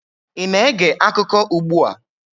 ị na-ege akụkọ ugbu a?